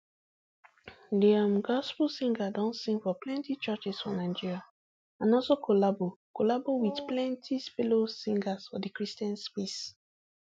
di um gospel singer don sing for plenti churches for nigeria and also collabo collabo wit plenti fellow singers for di christian space